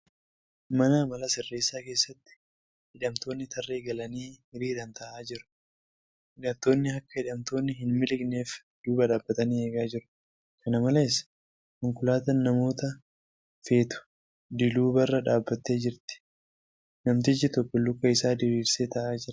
Mana amala sirreessaa keessatti hidhamtoonni tarree galanii hiriiraan taa'aa jiru. Hidhattoonni akka hidhamtoonni hin miliqneef duuba dhaabbatanii eegaa jiru. Kana malees, konkolaataan namoota feetu diluubarra dhaabbattee jirti. Namtichi tokko luka isaa diriirsee taa'aa jira.